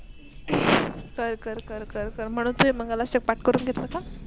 कर कर म्हणून ते मंगलआष्टक पाट कुरन घेतल का?